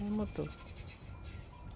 Tudo é motor.